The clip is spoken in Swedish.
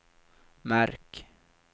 märk